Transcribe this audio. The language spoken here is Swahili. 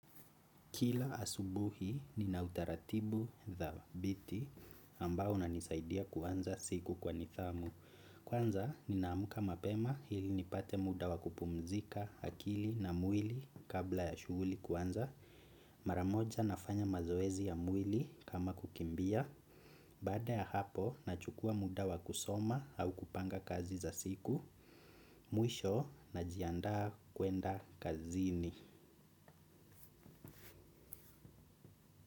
Kila asubuhi nina utaratibu dhabiti ambao unanisaidia kuanza siku kwa nithamu. Kuanza ninamuka mapema hili nipate muda wakupumzika hakili na mwili kabla ya shuguli kuanza. Maramoja nafanya mazoezi ya mwili kama kukimbia. Bada ya hapo nachukua muda wakusoma au kupanga kazi za siku. Mwisho najianda kwenda kazini.